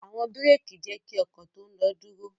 Awọn biréki jẹ ki ọkọ to ń lo duro.